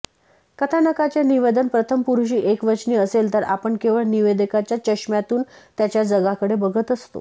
कथानकाचे निवेदन प्रथमपुरुषी एकवचनी असेल तर आपण केवळ निवेदकाच्या चष्म्यातून त्याच्या जगाकडे बघत असतो